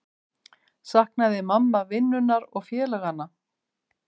Saknaði mamma vinnunnar og félaganna?